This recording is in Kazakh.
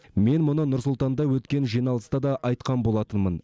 мен мұны нұр сұлтанда өткен жиналыста да айтқан болатынмын